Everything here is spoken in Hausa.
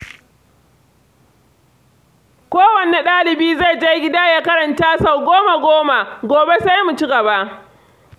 Kowanne ɗalibi zai je gida ya karanta sau goma-goma, gobe sai mu ci gaba.